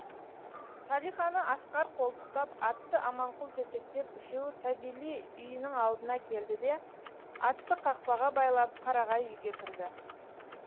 салиханы асқар қолтықтап атты аманқұл жетектеп үшеуі савелий үйінің алдына келді де атты қақпаға байлап қарағай үйге кірді